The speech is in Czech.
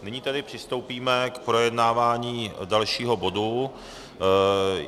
Nyní tedy přistoupíme k projednávání dalšího bodu.